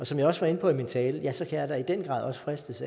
som jeg også var inde på i min tale kan jeg da i den grad også fristes